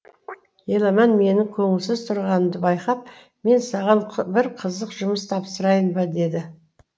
еламан менің көңілсіз тұрғанымды байқап мен саған бір қызық жұмыс тапсырайын ба деді